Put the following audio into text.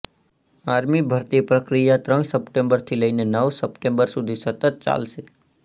army ભરતી પ્રક્રિયા ત્રણ સપ્ટેમ્બરથી લઈને નવ સપ્ટેમ્બર સુધી સતત ચાલશે